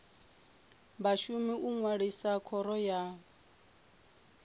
vhashumi u ṅwalisa khoro ya